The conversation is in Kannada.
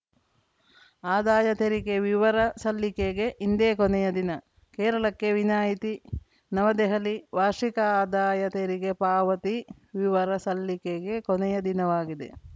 ಆದಾಯ ತೆರಿಗೆ ವಿವರ ಸಲ್ಲಿಕೆಗೆ ಇಂದೇ ಕೊನೆಯ ದಿನ ಕೇರಳಕ್ಕೆ ವಿನಾಯತಿ ನವದೆಹಲಿ ವಾರ್ಷಿಕ ಆದಾಯ ತೆರಿಗೆ ಪಾವತಿ ವಿವರ ಸಲ್ಲಿಕೆಗೆ ಕೊನೆಯ ದಿನವಾಗಿದೆ